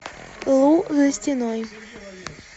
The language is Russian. лу за стеной